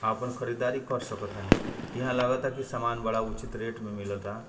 आपन खरीदारी कर सक तानी इहाँ लागता की समान बड़ा उचित रेट में मिलता।